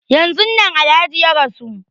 Yanzun nan Alhaji ya rasu.